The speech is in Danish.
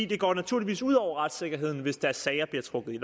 det går naturligvis ud over retssikkerheden hvis deres sager bliver trukket